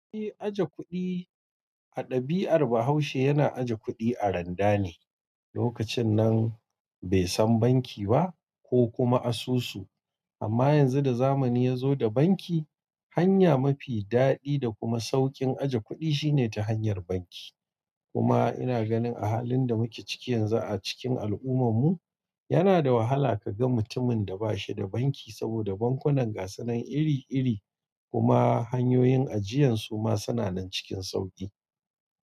E, ajekudi adabi ar bahaushe yana ajekudi aranda ne. Lokacin nan bai san banki ba ko kuma asusu. Amma yanzu da zamani ya zo da banki, hanya mafi daɗi da kuma sauƙin ajiye kuɗi shine ta hanyar banki. Kuma ina ganin a halin da muke ciki yanzu a cikin al'ummam mu, yana da wahala ka ga mutumin da ba shi da banki saboda bankunan gasanan iri-iri kuma hanyoyin ajiyansu ma suna nan cikin sauƙi.